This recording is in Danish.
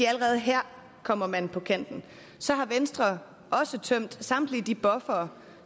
at allerede her kommer man på kanten så har venstre også tømt samtlige de buffere